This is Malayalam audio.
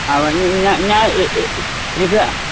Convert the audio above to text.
അവൻ ഞാ ഞാൻ എ ഏ എടുക്കുക